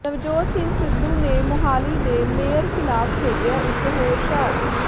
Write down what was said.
Navjot Singh Sidhu ਨੇ ਮੁਹਾਲੀ ਦੇ mayor ਖਿਲਾਫ਼ ਖੇਡਿਆ ਇਕ ਹੋਰ ਸ਼ਾਟ